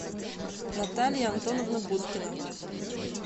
наталья антоновна будкина